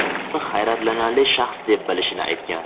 uni hayratlanarli shaxs deb bilishini aytgan.